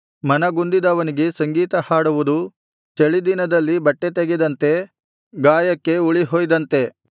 ಮನಗುಂದಿದವನಿಗೆ ಸಂಗೀತಹಾಡುವುದು ಚಳಿದಿನದಲ್ಲಿ ಬಟ್ಟೆ ತೆಗೆದಂತೆ ಗಾಯಕ್ಕೆ ಹುಳಿಹೊಯ್ದಂತೆ